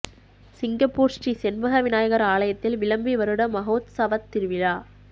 Singapore Sri Senbaga Vinayagar ஆலயத்தில் விளம்பி வருட மஹோத்சவத் திருவிழா